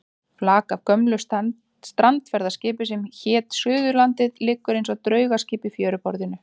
Flak af gömlu strandferðaskipi sem hét Suðurlandið liggur eins og draugaskip í fjöruborðinu.